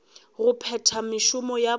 go phetha mešomo ya bona